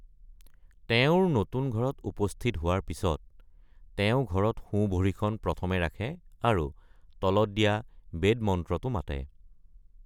তেওঁৰ নতুন ঘৰত উপস্থিত হোৱাৰ পিছত, তেওঁ ঘৰত সোঁ ভৰিখন প্ৰথমে ৰাখে আৰু তলত দিয়া বেদ মন্ত্ৰটো মাতে।